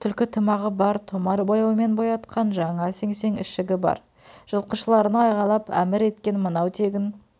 түлкі тымағы бар томар бояумен боятқан жаңа сеңсең ішігі бар жылқышыларына айқайлап әмір еткен мынау тегін